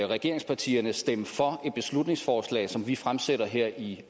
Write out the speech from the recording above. regeringspartierne stemme for et beslutningsforslag som vi fremsætter her i